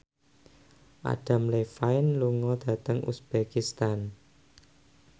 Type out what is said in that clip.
Adam Levine lunga dhateng uzbekistan